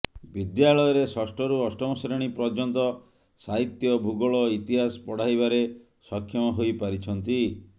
ବିଦ୍ୟାଳୟରେ ଷଷ୍ଠରୁ ଅଷ୍ଟମ ଶ୍ରେଣୀ ପର୍ଯ୍ୟନ୍ତ ସାହିତ୍ୟ ଭୂଗୋଳ ଇତିହାସ ପଢାଇବାରେ ସକ୍ଷମ ହୋଇ ପାରିଛନ୍ତି